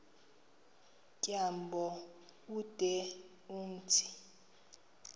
tyambo ude umthi